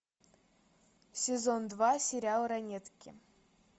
сезон два сериал ранетки